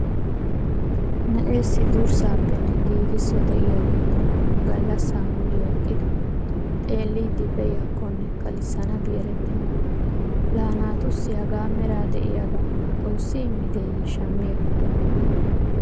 Na'eessi durssaapenne giigisso de'iyaage tuma gallassa muliya eqqidi xeelliiddi pee'iigiyakonne kalissanabi erettenna. Laa naatussi hagaa mera de'iyaagaa xoossi immideeyye shammi ekkidonaa?